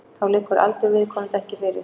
Þá liggur aldur viðkomandi ekki fyrir